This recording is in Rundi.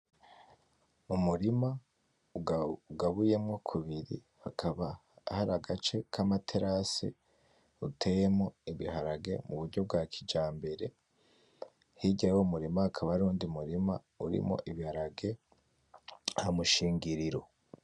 Umurima ugabuyemwo kubiri, hakaba hari agace kama terase uteyemwo ibiharage mu buryo bwa kijambere. Hirya y'umurima hakaba hariho uwundi murima urimwo ibiharage hamushingiriro.